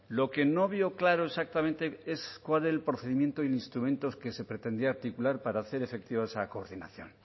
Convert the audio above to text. lo que no veo claro exactamente es cuál era el procedimiento e instrumentos que se pretendía articular para hacer efectiva esa coordinación